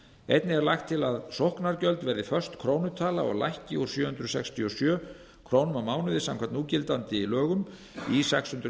einnig er lagt til að sóknargjöld verði föst krónutala lækki úr sjö hundruð sextíu og sjö krónur á mánuði samkvæmt núgildandi lögum í sex hundruð